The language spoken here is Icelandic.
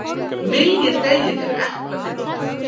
Myljið deigið yfir eplafyllinguna.